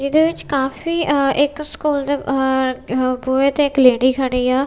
ਇਹਦੇ ਵਿੱਚ ਕਾਫੀ ਅ ਇੱਕ ਸਕੂਲ ਦੇ ਅ ਬੂਹੇ ਤੇ ਇੱਕ ਲੇਡੀ ਖੜੀ ਆ।